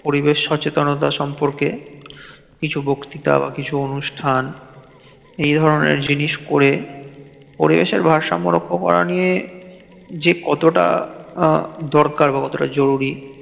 পরিবেশ সচেতনতা সম্পর্কে কিছু বক্তিতা বা কিছু অনুষ্ঠান এই ধরণের জিনিস করে পরিবেশের ভারসাম্য রক্ষা করা নিয়ে যে কতটা আহ দরকার বা জরুরি